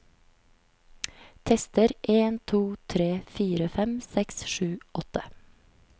Tester en to tre fire fem seks sju åtte